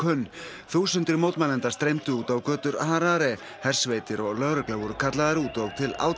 mótmælenda streymdu út á götur Harare hersveitir og lögregla voru kallaðar út og til átaka hefur komið